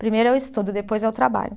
Primeiro é o estudo, depois é o trabalho.